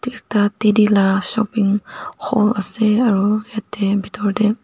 ekta teddy lah shopping hall ase aro eteh bethor dae.